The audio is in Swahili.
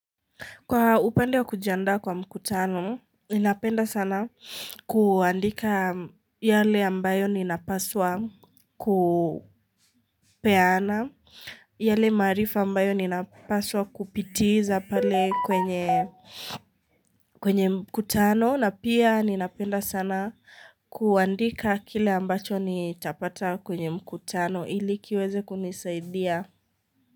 Kwa upande kujiandaa kwa mkutano inapenda sana kuandika yale ambayo nina paswa kupeana yale maarifa ambayo ninapaswa kupitiza pali kwenye mkutano na pia ninapenda sana kuandika kile ambacho nitapata kwenye mkutano ili kiweze kunisaidia.